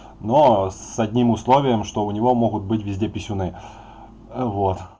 но с одним условием что у него могут быть везде писюны вот